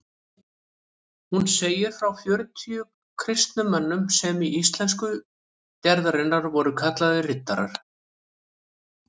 Hún segir frá fjörutíu kristnum mönnum sem í íslensku gerðinni voru kallaðir riddarar.